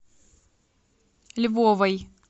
львовой